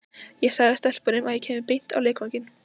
Ég sagði stelpunum að ég kæmi beint á leikvanginn.